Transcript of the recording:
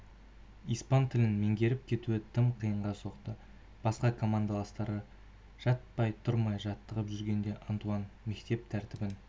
испан тілін меңгеріп кетуі тым қиынға соқты басқа командаластары жатпай-тұрмай жаттығып жүргенде антуан мектеп тәртібін